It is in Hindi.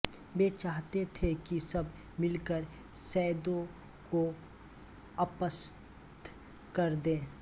वे चाहते थे कि सब मिल कर सैयदों को अपदस्थ कर दें